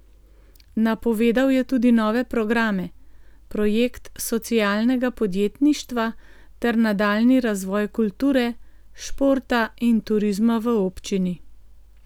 Napovedal je tudi nove programe, projekt socialnega podjetništva ter nadaljnji razvoj kulture, športa in turizma v občini.